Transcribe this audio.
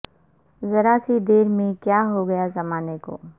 ذرا سی دیر میں کیا ہو گیا زمانے کو